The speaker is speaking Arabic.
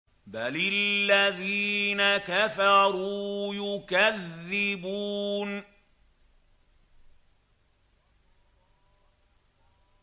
بَلِ الَّذِينَ كَفَرُوا يُكَذِّبُونَ